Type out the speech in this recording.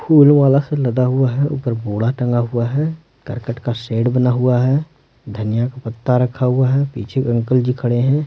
फूल माला से लदा हुआ है ऊपर बोड़ा टंगा हुआ है करकट का शेड बना हुआ है धनिया का पत्ता रखा हुआ है पीछे अंकल जी खड़े हैं।